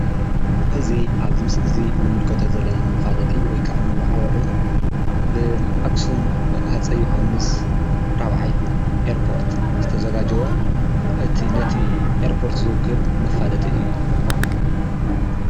እዚ ኣብዚ ምስሊ እዚ ንምልከቶ ዘለና መፋለጢ ወይከዓ መዋዓውዒ ብኣክሱም ኣፀይ ዮሃንስ 4ይ ኤርፖርት ዝተዘጋጀወ እቲ ነቲ ኤርፖርት ዝውክል መፋለጢ እዩ፡፡